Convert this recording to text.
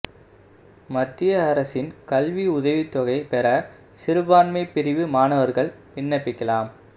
மத்திய அரசின் கல்வி உதவித்தொகை பெற சிறுபான்மை பிரிவு மாணவா்கள் விண்ணப்பிக்கலாம்